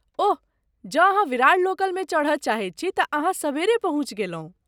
ओह, जँ विरार लोकलमे चढ़य चाहैत छी तँ अहाँ सबेरे पहुँचि गेलहुँ।